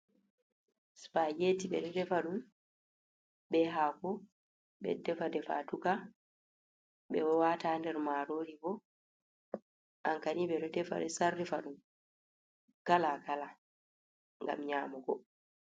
"Spageti ɓeɗo defa ɗum ɓe hako ɓeɗo defa defaduka ɓeɗo wata nder marori bo ankani ɓeɗo defa sarrifa ɗum kala kala ngam nyamugo.